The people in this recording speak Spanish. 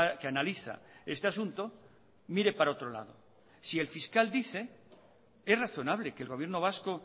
que analiza este asunto mire para otro lado si el fiscal dice es razonable que el gobierno vasco